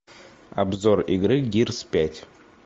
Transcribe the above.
обзор игры гирс пять